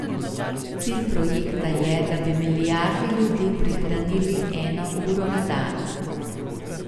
Cilj projekta je, da bi milijardi ljudi prihranili eno uro na dan.